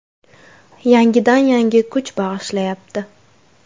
Yangidan yangi kuch bag‘ishlayapti.